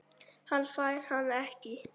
Hann fær hana ekki.